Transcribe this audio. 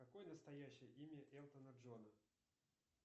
какое настоящее имя элтона джона